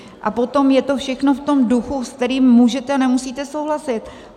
A potom je to všechno v tom duchu, se kterým můžete a nemusíte souhlasit.